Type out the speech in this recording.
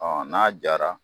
Ɔ n'a diyara